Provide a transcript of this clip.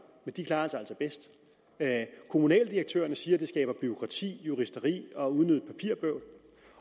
men de klarer sig altså bedst kommunaldirektørerne siger at det skaber bureaukrati juristeri og unødigt papirbøvl